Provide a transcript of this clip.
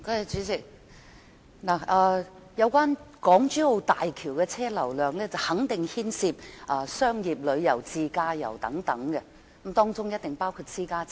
主席，港珠澳大橋的車輛流量肯定牽涉商業旅遊、自駕遊等，當中一定包括私家車。